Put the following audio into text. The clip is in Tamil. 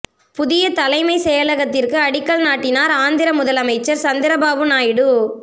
புதிய தலைமை செயலகத்திற்கு அடிக்கல் நாட்டினார் ஆந்திர முதலமைச்சர் சந்திரபாபு நாயுடு